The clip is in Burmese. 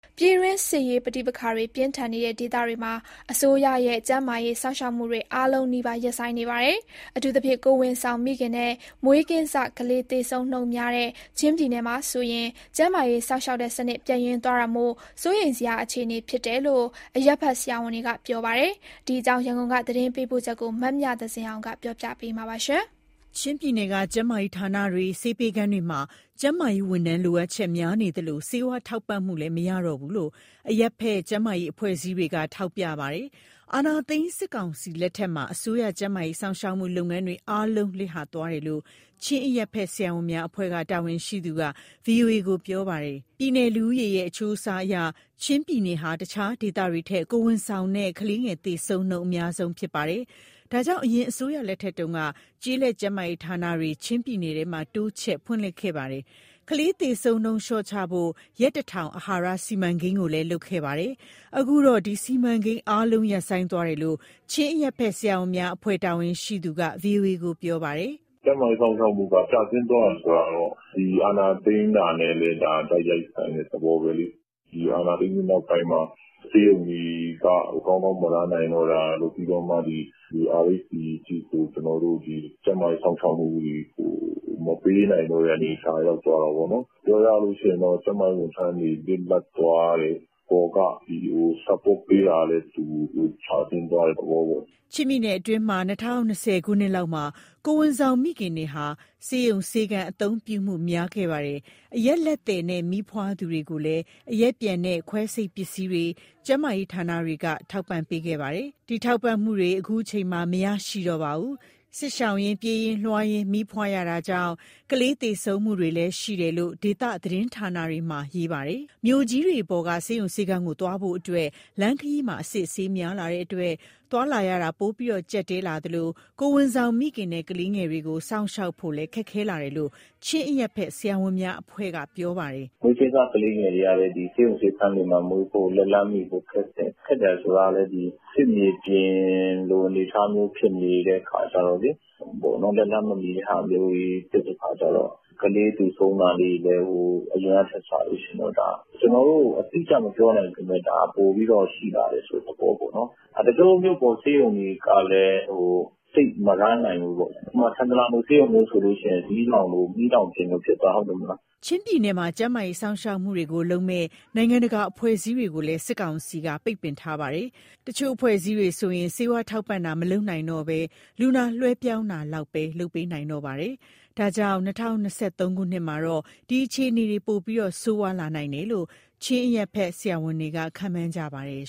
ပြည်တွင်းစစ်ရေးပဋိပက္ခတွေ ပြင်းထန်နေတဲ့ဒေသတွေမှာ အစိုးရရဲ့ ကျန်းမာရေး စောင့်ရှောက်မှုတွေ အားလုံးနီးပါး ရပ်ဆိုင်းနေပါတယ်။ အထူးသဖြင့် ကိုယ်ဝန်ဆောင်မိခင်နဲ့ မွေးကင်းစကလေး သေဆုံးနှုန်းများတဲ့ ချင်းပြည်နယ်မှာဆိုရင် ကျန်းမာရေး စောင့်ရှောက်မှုစနစ် ပျက်ယွင်းသွားတာမို့၊ စိုးရိမ်စရာ အခြေအနေဖြစ်တယ်လို့ အရပ်ဘက်ဆရာဝန်တွေက ပြောပါတယ်။ ဒီအကြောင်း ရန်ကုန်က သတင်းပေးပို့ချက်ကို မမြသဇင်အောင်က ပြောပြမှာပါ။ ချင်းပြည်နယ်က ကျန်းမာရေးဌာနတွေ၊ ဆေးပေးခန်းတွေမှာ ကျန်းမာရေးဝန်ထမ်း လိုအပ်ချက်များနေသလို၊ ဆေးဝါးထောက်ပံ့မှုလည်း မရရှိတော့ဘူးလို့ အရပ်ဘက် ကျန်းမာရေး အဖွဲ့အစည်းတွေက ထောက်ပြနေပါတယ်။ အာဏာသိမ်းစစ်ကောင်စီလက်ထက်မှာ အစိုးရရဲ့ ကျန်းမာရေး စောင့်ရှောက်မှု လုပ်ငန်းတွေအားလုံး လစ်ဟာသွားတယ်လို့ ချင်းအရပ်ဘက် ဆရာဝန်များအဖွဲ့က တာဝန်ရှိသူက ဗွီအိုအေကို ပြောပါတယ်။ ပြည်နယ်လူဦးရေရဲ့ အချိုးအစားအရ ချင်းပြည်နယ်ဟာ တခြားဒေသတွေထက် ကိုယ်ဝန်ဆောင်နဲ့ ကလေးငယ်သေဆုံးနှုန်း အများဆုံးဖြစ်ပါတယ်။ ဒါကြောင့် အရင်အစိုးရလက်ထက်တုန်းက ကျေးလက်ကျန်းမာရေးဌာနတွေ ချင်းပြည်နယ်ထဲမှာ တိုးချဲ့ဖွင့်လှစ်ခဲ့ပါတယ်။ ကလေးသေဆုံးနှုန်းကို လျှော့ချဖို့ ရက်တထောင် အာဟာရစီမံကိန်းကိုလည်း လုပ်ခဲ့ကြတာပါ။ အခုတော့ ဒီစီမံကိန်းအားလုံး ရပ်ဆိုင်းသွားတယ်လို့ ချင်းအရပ်ဘက် ဆရာဝန်များအဖွဲ့ တာဝန်ရှိသူက ဗွီအိုအေကို ပြောပါတယ်။ "ကျန်းမာရေးစောင့်ရှောက်မှု ကျဆင်းသွားတယ် ဆိုတာကတော့ အာဏာသိမ်းတာနဲ့ တိုက်ရိုက်ဆိုင်တဲ့ သဘောပဲလေ။ အာဏာသိမ်းပြီး နောက်ပိုင်းမှာ ဆေးရုံတွေကကောင်းကောင်း မလည်ပတ်နိုင်တော့တာတို့၊ ပြီးတော့ RHC (ကျေးလက် ကျန်းမာရေးဌာန) အထိကို ကျန်းမာရေး စောင့်ရှောက်မှုတွေကို မပေးနိုင်တဲ့အနေအထား ရောက်သွားတာပေါ့နော်။ ပြောရရင် ကျန်းမာရေးဝန်ထမ်းတွေ လစ်လပ်သွားတယ်၊ အပေါ်က support (အထောက်အပံ့) ပေးတာလည်း ကျဆင်းသွားတဲ့သဘောပေါ့။" ချင်းပြည်နယ်တွင်း ၂၀၂၀ ခုနှစ်လောက်မှာ ကိုယ်ဝန်ဆောင်မိခင်တွေဟာ ဆေးရုံ၊ ဆေးခန်း အသုံးပြုမှု များလာခဲ့ပါတယ်။ အရပ်လက်သည်နဲ့ မီးဖွားသူတွေကိုလည်း အရက်ပျံနဲ့ ခွဲစိတ်ပစ္စည်းတွေ ကျန်းမာရေးဌာနတွေက ထောက်ပံ့ပေးခဲ့ပါတယ်။ ဒီထောက်ပံ့မှုတွေ အခုအချိန်မှာ မရရှိတော့ပါဘူး။ စစ်ရှောင်ရင်း၊ ပြေးရင်းလွှားရင်း မီးဖွားရတာကြောင့် ကလေးသေဆုံးမှုတွေ ရှိနေတယ်လို့ ဒေသသတင်းဌာနတွေက ရေးသားကြပါတယ်။ မြို့ကြီးတွေပေါ်က ဆေးရုံဆေးခန်းကို သွားဖို့အတွက်လည်း လမ်းခရီးမှာ အစစ်အဆေးများလာတဲ့အတွက် သွားလာရ ပိုပြီးကျပ်တည်းလာသလို၊ ကိုယ်ဝန်ဆောင်မိခင်နဲ့ ကလေးငယ်တွေကို စောင့်ရှောက်ဖို့လည်း ခက်ခဲလာတယ်လို့ ချင်းအရပ်ဘက် ဆရာဝန်များအဖွဲ့က ပြောပါတယ်။ " မွေကင်းစ ကလေးငယ်တွေကလည်း ဆေးရုံ၊ ဆေးခန်းတွေမှာမွေးဖို့ လက်လှမ်းမီဖို့ခက်တယ်။ စစ်မြေပြင်လို အနေအထားမျိုး ဖြစ်နေတဲ့အခါကြတော့ လက်လှမ်းမမီတော့ ကလေးသေဆုံးတာ အရင်ကထက်စာရင် ကျနော်တို့ အတိအကျ မပြောနိုင်ပေမဲ့ ဒါက ပိုပြီးတော့ ရှိလာတယ်ဆိုတဲ့သဘောပေါ့။ တချို့မြို့ပေါ် ဆေးရုံတွေကလည်း သိပ်မလည်ပတ် (run)နိုင်ဘူးပေါ့။ ဥပမာ ထန်တလန်ဆေးရုံမျိုးဆိုရင် မီးလောင်ပြင်လို ဖြစ်သွားတာ ဟုတ်တယ်မလား။" ချင်းပြည်နယ်မှာ ကျန်းမာရေး စောင့်ရှောက်မှုတွေကိုလုပ်မဲ့ နိုင်ငံတကာက အဖွဲ့အစည်းတွေကိုလည်း စစ်ကောင်စီက ပိတ်ပင်ထားပါတယ်။ တချို့ အဖွဲ့အစည်းတွေဆိုရင် ဆေးဝါးထောက်ပံ့တာကို မလုပ်နိုင်တော့ဘဲ လူနာလွှဲပြောင်းတာလောက်ပဲ လုပ်ပေးနိုင်တော့တာပါ။ ဒါကြောင့် အခု ၂၀၂၃ထဲမှာ ဒီအခြေအနေတွေဟာ ပိုပြီးဆိုးရွားနိုင်မယ်လို့ ချင်းအရပ်ဘက်က ဆရာဝန်တွေက ခန့်မှန်းထားပါတယ်